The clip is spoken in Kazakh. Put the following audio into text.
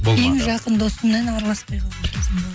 ең жақын досыммен араласпай қалған кезім бол